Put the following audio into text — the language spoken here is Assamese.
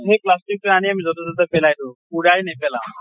সেই plastic তো আনি আমি যʼতে তʼতে পেলাই দিওঁ, পুৰাই নেপেলাওঁ।